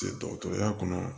Dɔgɔtɔrɔya kɔnɔ